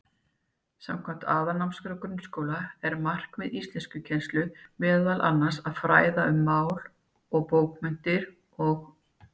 Samkvæmt Aðalnámskrá grunnskóla er markmið íslenskukennslu meðal annars að fræða um mál og bókmenntir og.